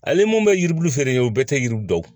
Ale mun bɛ yiribulu feere kɛ o bɛɛ tɛ yiri dɔn